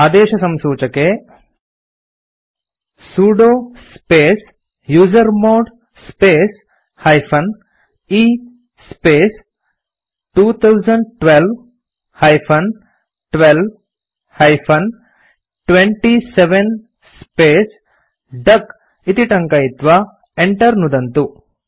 आदेशसंसूचके sudo space user mode space - e space 2012 - 12 -27 space डक इति टङ्कयित्वा enter नुदन्तु